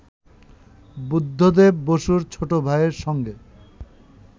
বুদ্ধদেব বসুর ছোট ভাইয়ের সঙ্গে